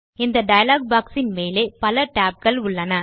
இந்த டயலாக் boxஇன் மேலே பல tab கள் உள்ளன